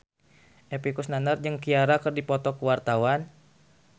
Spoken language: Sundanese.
Epy Kusnandar jeung Ciara keur dipoto ku wartawan